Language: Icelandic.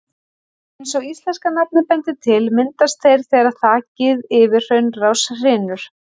Eins og íslenska nafnið bendir til, myndast þeir þegar þakið yfir hraunrás hrynur.